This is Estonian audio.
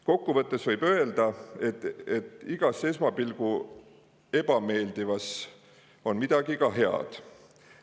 Kokku võttes võib öelda, et igas esmapilgul ebameeldivas on ka midagi head.